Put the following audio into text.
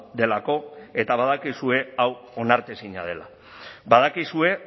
delako eta badakizue hau onartezina dela badakizue